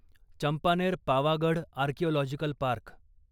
Champaner Pavagadh archaeological park